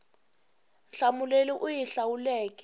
nhlamulo leyi u yi hlawuleke